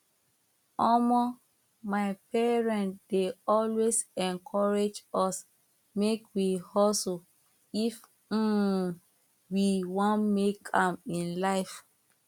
omo my parent dey always encourage us make we hustle if um we wan make am in life